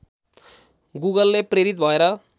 गुगलले प्रेरित भएर